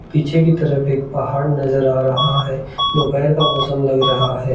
पीछे की तरफ एक पहाड़ नजर आ रहा है दोपहर का मौसम लग रहा है।